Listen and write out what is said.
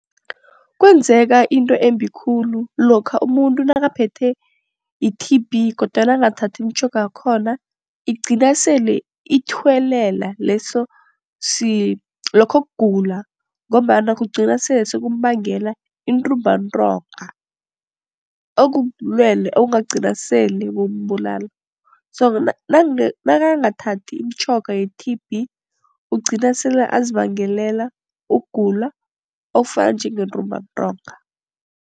Kwenzeka into embi khulu lokha umuntu nakaphethwe yi-T_B kodwana angathathi imitjhoga yakhona. Igcina sele ithuwelele lokho kugula ngombana kugcina sele sekumbangela intumbantonga. Okubulwele okungagcina sele kumbulala nakangathathi imitjhoga ye-T_B ugcina sele azibangelela ukugula okufana njengentumbantonga